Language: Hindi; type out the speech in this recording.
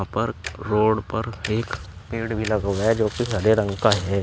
पर रोड पर एक पेड़ भी लगा है जो कि हरे रंग का है।